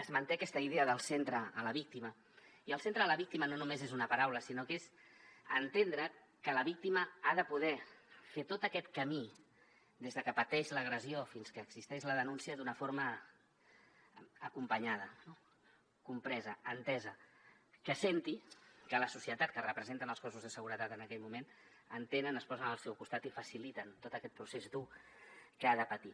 es manté aquesta idea de al centre la víctima i al centre la víctima no només és una paraula sinó que és entendre que la víctima ha de poder fer tot aquest camí des de que pateix l’agressió fins que existeix la denúncia d’una forma acompanyada compresa entesa que senti que la societat que representen els cossos de seguretat en aquell moment entenen es posen al seu costat i faciliten tot aquest procés dur que ha de patir